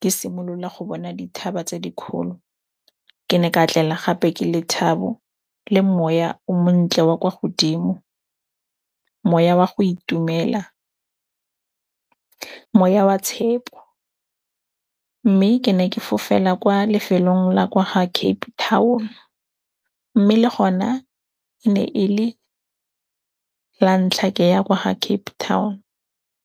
ke simolola go bona dithaba tse dikgolo. Ke ne ka tlela gape ke lethabo le moya o montle wa kwa godimo, moya wa go itumela, moya wa tshepo. Mme ke ne ke fofela kwa lefelong la kwa ga Cape Town, mme le gona e ne e le la ntlha ke ya kwa ga Cape Town.